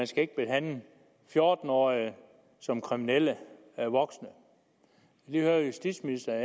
skal behandle fjorten årige som kriminelle voksne og høre justitsministeren